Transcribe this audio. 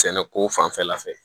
Sɛnɛko fanfɛla fɛ